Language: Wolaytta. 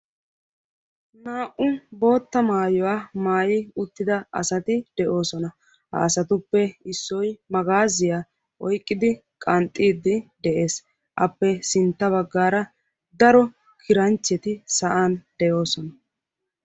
Naa"u bootta maaytuwa maayi uttida asati de'osoana. Ha asatuppe issoy magaazziya oyqqidi qanxxiddi de'ees. Appe sintta baggaara daro kiranchcheti sa'an de'osona.